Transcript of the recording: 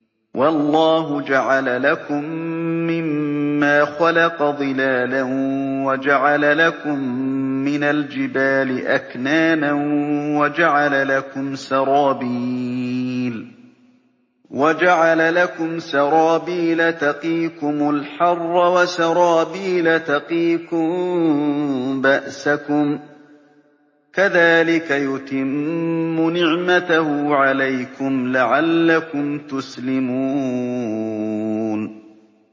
وَاللَّهُ جَعَلَ لَكُم مِّمَّا خَلَقَ ظِلَالًا وَجَعَلَ لَكُم مِّنَ الْجِبَالِ أَكْنَانًا وَجَعَلَ لَكُمْ سَرَابِيلَ تَقِيكُمُ الْحَرَّ وَسَرَابِيلَ تَقِيكُم بَأْسَكُمْ ۚ كَذَٰلِكَ يُتِمُّ نِعْمَتَهُ عَلَيْكُمْ لَعَلَّكُمْ تُسْلِمُونَ